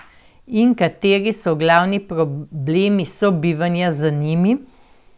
In kateri so glavni problemi sobivanja z njimi?